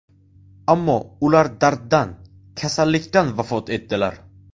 Ammo ular darddan, kasallikdan vafot etdilar.